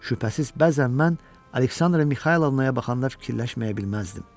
Şübhəsiz, bəzən mən Aleksandra Mixaylovnaya baxanda fikirləşməyə bilməzdim.